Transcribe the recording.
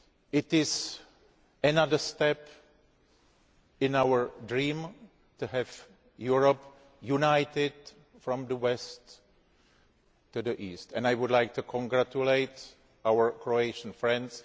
It is another stage in our dream to have Europe united from the west to the east, and I would like to congratulate our Croatian friends.